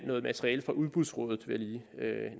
noget materiale fra udbudsrådet vil jeg lige